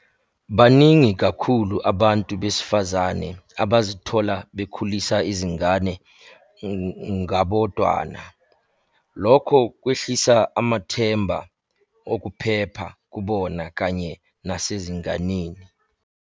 Baningi kakhulu abantu besifazane abazithola bekhulisa izingane ngabodwana, lokho kwehlisa amathemba okuphepha kubona kanye nasezinganeni.